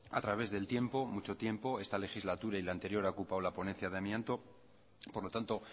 a través del tiempo mucho tiempo esta legislatura y la anterior ha ocupado la ponencia de amianto por lo tanto